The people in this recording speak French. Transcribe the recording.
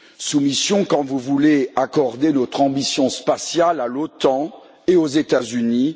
Soumission, quand vous voulez accorder notre ambition spatiale à l'OTAN et aux États Unis.